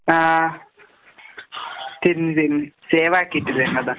ആഹ്. തിരിഞ്ഞ് തിരിഞ്ഞ്. സേവാക്കീട്ടില്ല അതാ.